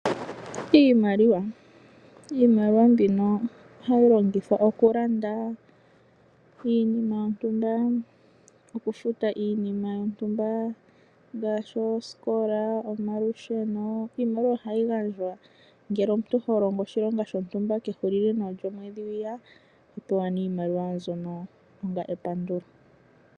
Iimaliwa mbino ohayi longithwa okulanda, iinima yontumba, okufuta iinima lyontumba, ngaashi oosikola, omalusheno, iimaliwa ohayi gandjwa ngele omuntu holongo oshilonga shontumba kehulilo nawa lyomwedhi hwiya oto pewa nee iimaliwa mbyono onga epandulo.